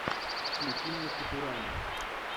включи мне футурама